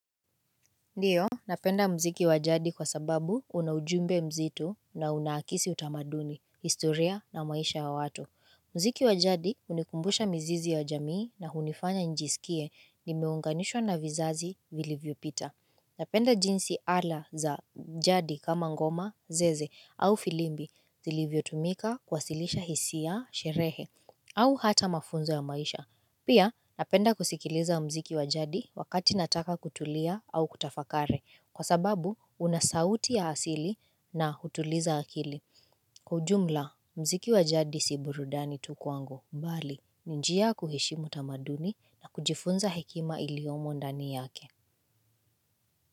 Ndiyo, napenda mziki wa jadi kwa sababu una ujumbe mzitu na unakisi utamaduni, historia na maisha ya watu. Mziki wa jadi hunikumbusha mzizi ya jamii na unifanya njisikie nimeunganishwa na vizazi vilivyo pita. Napenda jinsi ala za jadi kama ngoma, zeze au filimbi zilivyo tumika kwasilisha hisia, sherehe au hata mafunzo ya maisha. Pia napenda kusikiliza mziki wajadi wakati nataka kutulia au kutafakari kwa sababu unasauti ya asili na hutuliza akili. Kwa ujumla mziki wa jadi si burudani tu kwangu mbali. Nijia kuhishimu tamaduni na kujifunza hekima iliyomo ndani yake.